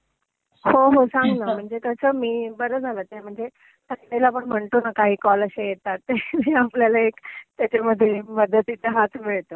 हो, हो. सांग ना. म्हणजे कसं, मी बरं झालं ते म्हणजे काही वेळा आपण म्हणतो ना काही कॉल आशे येतात ter आपल्याला एक त्याच्यामध्ये मदतीचा हात मिळतो.